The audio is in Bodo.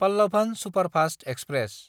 Pallavan superfast express